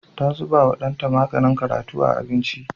Ta zubawa ɗanta maganin karatu a abinci.